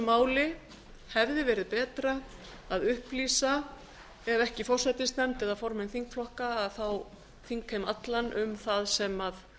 máli hefði verið betra að upplýsa ef ekki forsætisnefnd eða formenn þingflokka þá þingheim allan um það sem